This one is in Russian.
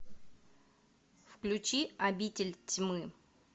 включи обитель тьмы